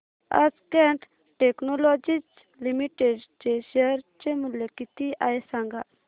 आज Cat Technologies Limited चे share चे मूल्य किती आहे सांगा